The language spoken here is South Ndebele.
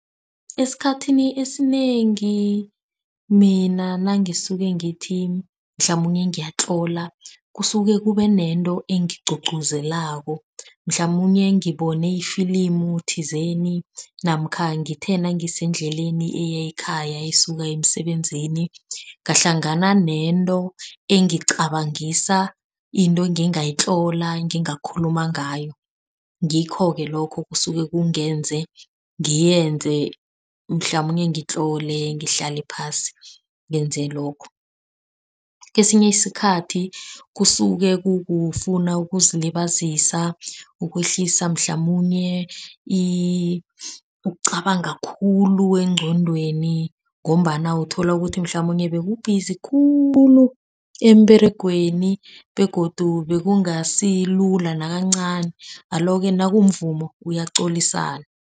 Esikhathini esinengi mina nange isuke ngithi mhlamunye ngiyatlola. Kusuke kube nento engigqugquzelako mhlamunye ngibone ifilimu thizeni namkha ngithi nangisendleleni eyakhaya esuka emisebenzini. Ngahlangana nento engicabangisa into engingayitlola, ngingakhuluma ngayo. Ngikho-ke lokho kusuke kungenze ngiyenze mhlamunye ngitlole ngihlale phasi ngenze lokho. Kesinye isikhathi kusuke kukufuna ukuzilibazisa, ukwehlisa mhlamunye ukucabanga khulu engqondweni ngombana uthola ukuthi mhlamunye bekubhizi khulu emberegweni begodu bekungasilula nakancani. Alo-ke nakumvumo uyaqolisana.